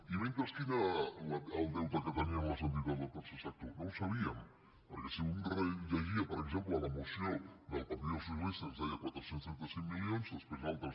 i mentrestant quin era el deute que tenien les entitats del tercer sector no ho sabíem perquè si un rellegia per exemple la moció del partit dels socialistes ens deia quatre cents i trenta cinc milions després altres